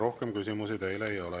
Rohkem küsimusi teile ei ole.